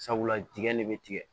Sabula dingɛ de bɛ tigɛ